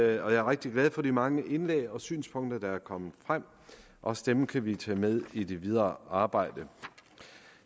jeg er rigtig glad for de mange indlæg og synspunkter der er kommet frem også dem kan vi tage med i det videre arbejde